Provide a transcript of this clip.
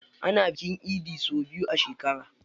Ana bikin idi sau biyu a shekara.